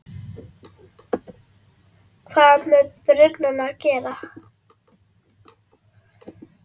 hvað með brunann að gera.